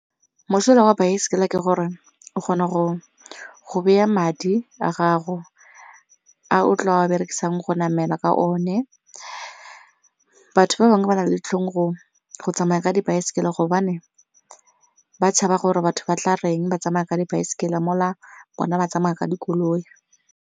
Mosola wa baesekele ke gore o kgona go baya madi a gago a o tlo berekisang go namela ka one, batho ba bangwe ba na le ditlhong go tsamaya ka dibaesekele gobane ba tshaba gore batho ba tla reng ba tsamaya ka dibaesekele mo la bona ba tsamaya ka dikoloi.